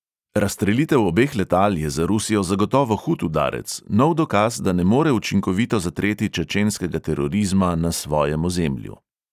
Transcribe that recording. Razstrelitev obeh letal je za rusijo zagotovo hud udarec, nov dokaz, da ne more učinkovito zatreti čečenskega terorizma na svojem ozemlju.